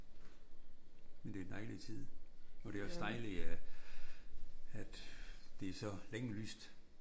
Men det er en dejlig tid og det er også dejligt at det er så længe lyst